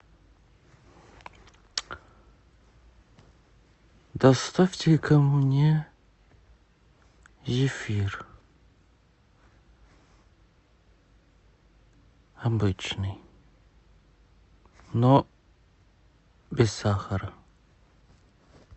доставьте ка мне зефир обычный но без сахара